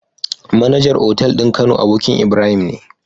MAnager otal din kano abokin Ibrahim ne